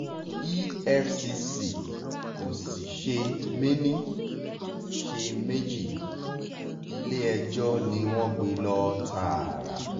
efcc kò sì ṣe méní ṣe méjì ilé-ẹjọ́ ni wọ́n gbé e lọ tààrà